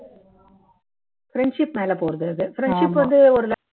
friendship மேல போறது அது friendship வந்து ஒரு